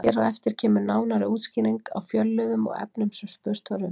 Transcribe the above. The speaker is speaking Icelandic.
Hér á eftir kemur nánari útskýring á fjölliðum og efninu sem spurt var um.